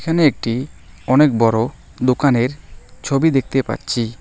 একটি অনেক বড় দোকানের ছবি দেখতে পাচ্ছি।